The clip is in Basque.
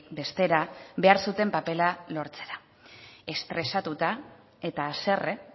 bestera behar zuten papera lortzera estresatuta eta haserre